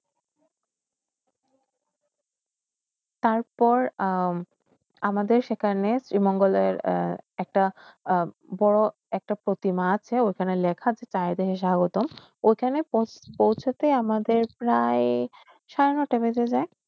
তারপর আমাদের সেখানে একটা বড় একটা প্রতিমা আসে য়ইখান লেখা আসে তায়দের স্বাগতম ঐখানে পৈশাতে আমাদের প্রায় সাড়ে নয়টা বেজে যায়